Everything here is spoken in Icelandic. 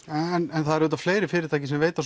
en það eru auðvitað fleiri fyrirtæki sem veita